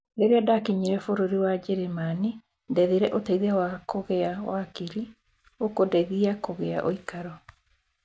Rĩrĩa ndakinyire bũrũri wa Germany ndethire uteithio wa kũgĩa wakili akũndeithia kũgĩa uikaro